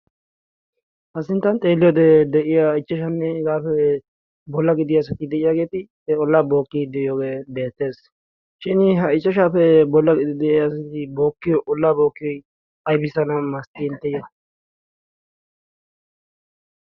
ha sinttan xeeliyoodee de'iya ichchashanne higaappe bolla gidiya asati de'iyaageeti e ollaa bookkii de'iyoogee beettees shin ha ichchashaappe bolla gidi de'iyaasati bookkiyo ollaa bookkii aybiisana malatiyona?